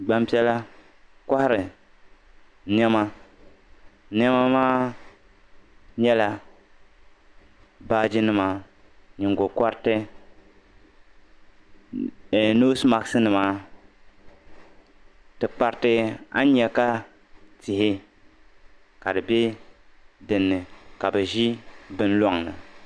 gbampiɛla kɔhiri nɛma nɛma maa nyɛla baajinima nyingokɔriti ɛɛh noosi masikinima tikpariti a ni nya ka tihi ka dinni ka bɛ ʒi bini lɔŋni